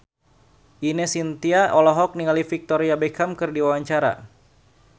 Ine Shintya olohok ningali Victoria Beckham keur diwawancara